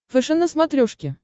фэшен на смотрешке